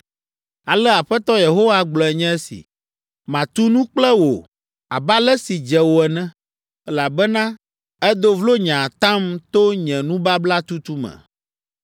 “Ale Aƒetɔ Yehowa gblɔe nye si, ‘Matu nu kple wò abe ale si dze wò ene, elabena èdo vlo nye atam to nye nubabla tutu me.